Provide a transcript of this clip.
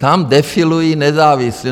Tam defilují nezávislí.